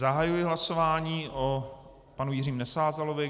Zahajuji hlasování o panu Jiřím Nesázalovi.